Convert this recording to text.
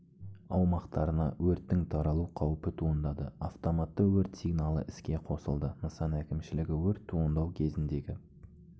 аумақтарына өрттің таралу қаупі туындады автоматты өрт сигналы іске қосылды нысан әкімшілігі өрт туындау кезіндегі